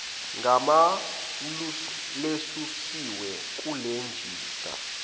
gama lesusiwe kulejista